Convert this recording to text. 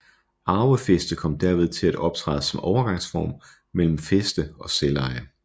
Arvefæste kom derved til at optræde som overgangsform mellem fæste og selveje